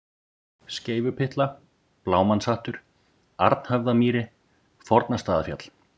Skeifupyttla, Blámannshattur, Arnhöfðamýri, Fornastaðafjall